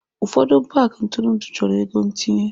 Ụfọdụ paaki ntụrụndụ chọrọ ego ntinye.